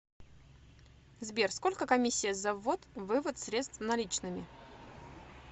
сбер сколько комиссия за ввод вывод средств наличными